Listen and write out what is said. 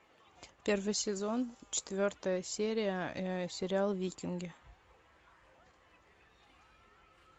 первый сезон четвертая серия сериал викинги